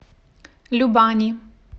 любани